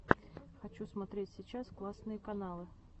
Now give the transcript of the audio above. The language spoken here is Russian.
хочу смотреть сейчас классные каналы